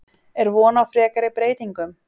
Er von á frekari breytingum?